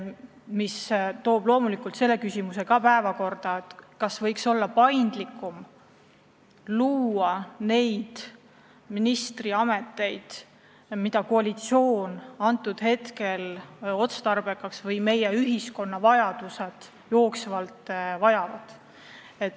Samas tõstab see päevakorrale veel küsimuse, kas võiks paindlikumalt luua ministriameteid, mida koalitsioon parajasti otstarbekaks peab ja mida ühiskond jooksvalt vajab.